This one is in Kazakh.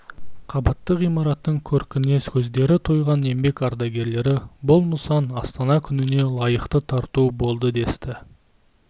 қабатты ғимараттың көркіне көздері тойған еңбек ардагерлері бұл нысан астана күніне лайықты тарту болды десті